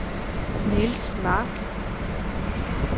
Nils Mark